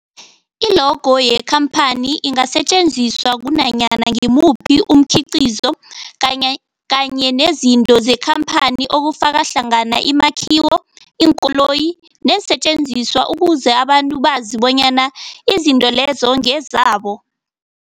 I-logo yekhamphani ingasetjenziswa kunanyana ngimuphi umkhiqizo kanye kanye nezinto zekhamphani okufaka hlangana imakhiwo, iinkoloyi neensentjenziswa ukuze abantu bazi bonyana izinto lezo ngezabo.